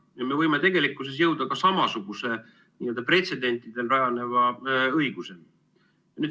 Ja me võime tegelikkuses jõuda ka samasuguse pretsedentidel rajaneva õiguseni.